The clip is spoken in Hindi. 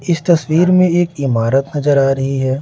इस तस्वीर में एक इमारत नजर आ रही है।